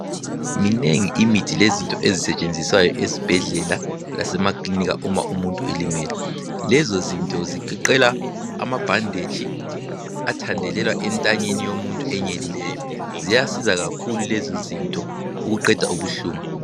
Minengi imithi lezinto ezisetshenziswayo esibhedlela lasemakilinika uma umuntu elimele. Lezo zinto zigoqela amabhanditshi athandelelwa entanyeni yomuntu enyelileyo. Ziyasiza kakhulu lezo zinto ukuqeda ubuhlungu.